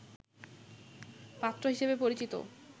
পাত্র হিসেবে পরিচিত